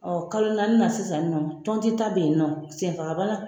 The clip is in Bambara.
kalo naani na sisan nɔ tɔnti ta bɛ ye nɔ senfaga bana.